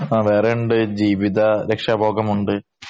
ആ വേറെയുമുണ്ട്. ജീവിത രക്ഷാഭോഗമുണ്ട്.